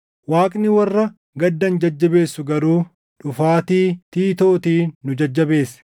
Waaqni warra gaddan jajjabeessu garuu dhufaatii Tiitootiin nu jajjabeesse;